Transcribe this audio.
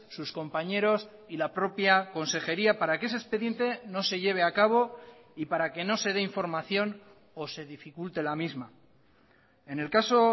sus compañeros y la propia consejería para que ese expediente no se lleve a cabo y para que no se de información o se dificulte la misma en el caso